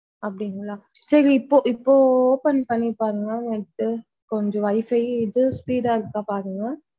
அப்படிங்களா சரி இப்போ இப்போ open பண்ணி பாருங்க net டு கொஞ்சம் WIFI இது speed இருக்கா பாருங்க.